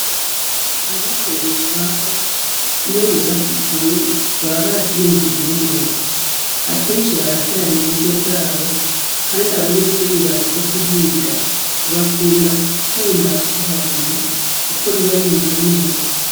Abikorer’utwabo, iyo bubats’ishuri, baba bavyiyumviiriye neza. Akenshi barakoranya uburyo bwabo , Kandi abanyeshuri baje kuhiga bakunda gukunda kuhaguma, kuko riba rimeze neza.